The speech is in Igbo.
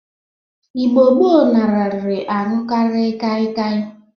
Igbo gboo nararị aṅụkarị kịakịa.